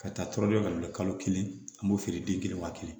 Ka taa tɔɔrɔ ka bila kalo kelen an b'o feere den kelen wa kelen